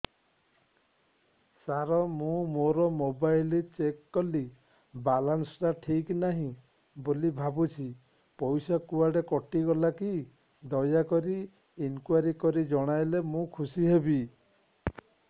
ସାର ମୁଁ ମୋର mobile check କଲି ବାଲାନ୍ସ ଟା ଠିକ ନାହିଁ ବୋଲି ଭାବୁଛି ପଇସା କୁଆଡେ କଟି ଗଲା କି ଦୟାକରି ଇନକ୍ୱାରି କରି ଜଣାଇଲେ ମୁଁ ଖୁସି ହେବି